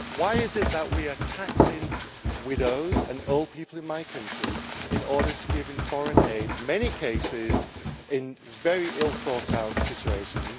Why is it that we are taxing widows and old people in my country in order to give foreign aid, in many cases in very ill thought out situations?